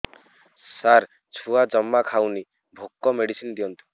ସାର ଛୁଆ ଜମା ଖାଉନି ଭୋକ ମେଡିସିନ ଦିଅନ୍ତୁ